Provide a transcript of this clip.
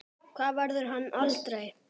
Það verður hann aldrei.